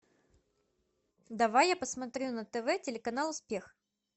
давай я посмотрю на тв телеканал успех